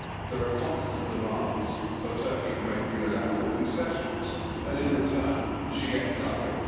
There are constant demands for Turkey to make unilateral concessions and in return she gets nothing.